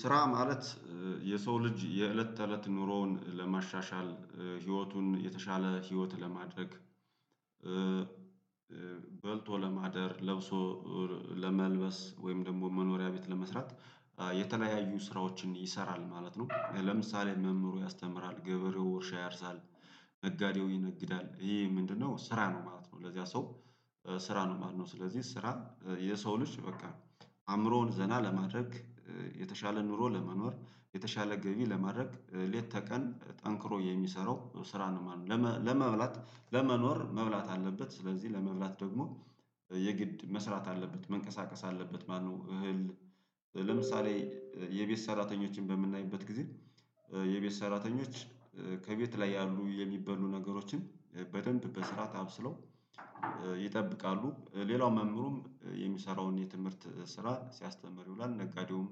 ስራ ማለት የሰው ልጅ የእለት ተእለት ኑሮውን ለማሻሻል ህይወቱን የተሻለ ህይወት ለማድረግ። በልቶ ለማደር ለብሶ ለመልበስ ወይም ደግሞ መኖሪያ ቤት ለመስራት የተለያዩ ስራዎችን ይሰራል ማለት ነው። ለምሳሌ መምህሩ ያስተምራል ገበሬው ውርሻ ያርሳል። ነጋዴው ይነግዳል ይሄ ምንድነው ስራ ነው ማለት ነው? ለዚያ ሰው ስራ ነው ማለት ነው። ስለዚህ ስራ የሰው ልጅ በቃ አእምሮውን ዘና ለማድረግ። የተሻለ ኑሮ ለመኖር የተሻለ ገቢ ለማድረግ ሌት ተቀን ጠንክሮ የሚሰራው ስራ ነው ማለት ነው። ለመ ለመብላት ለመኖር መብላት አለበት ስለዚህ ለመብላት ደግሞ የግድ መስራት አለበት መንቀሳቀስ አለበት ማለት ነው። እህል ለምሳሌ የቤት ሰራተኞችን በምናይበት ጊዜ የቤት ሰራተኞች ከቤት ላይ ያሉ የሚበሉ ነገሮችን በደንብ በስርዓት አብስለው ይጠብቃሉ። ሌላው መምህሩም የሚሰራውን የትምህርት ስራ ሲያስተምር ይውላል ነጋዴውም